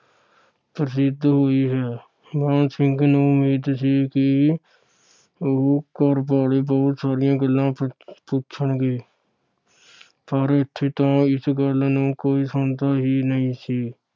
ਪ੍ਰਸਿਧ ਹੋਈ ਹੈ। ਮਾਣ ਸਿੰਘ ਨੂੰ ਉਮੀਦ ਸੀ ਕਿ ਉਹ ਘਰ ਵਾਲੇ ਬਹੁਤ ਸਾਰੀਆਂ ਗੱਲਾਂ ਪੁੱਛਣਗੇ। ਸਾਰੇ ਇਥੇ ਤਾਂ ਇਸ ਗੱਲ ਨੂੰ ਸੁਣਦਾ ਹੀ ਨਹੀਂ ਸੀ।